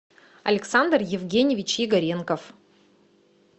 александр евгеньевич игоренков